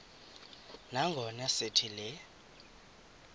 nangona sithi le